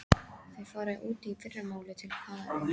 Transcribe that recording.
Þau fara út í fyrramálið, til Kanarí.